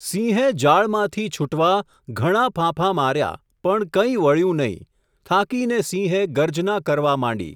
સિંહે જાળમાંથી છૂટવાં, ઘણાં ફાંફા માર્યાં, પણ કંઈ વળ્યું નહિ ! થાકીને સિંહે ગર્જના કરવા માંડી.